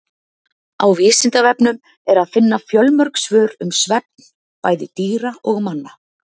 Á Vísindavefnum er að finna fjölmörg svör um svefn bæði dýra og manna.